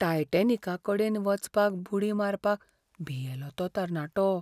टायटेनिका कडेन वचपाक बुडी मारपाक भियेलो तो तरणाटो!